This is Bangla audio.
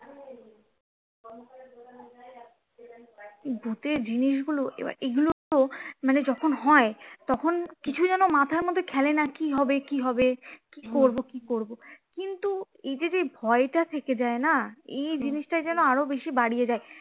এই ভূতের জিনিস গুলো এই গুলো মানে যখন হয় তখন কিছু যেন মাথার মধ্যে খেলে না কি হবে কি হবে কি করবো কি করবো কিন্তু এই যে যেই ভয় টা থেকে যায় না এই জিনিসটায় যেন আরো বেশি বাড়িয়ে দেয়